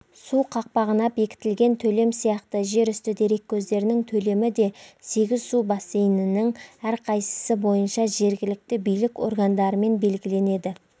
су қақпағына бекітілген төлем сияқты жерүсті дереккөздерінің төлемі де сегіз су бассейнінің әрқайсысы бойынша жергілікті билік органдарымен белгіленеді